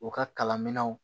U ka kalanminɛnw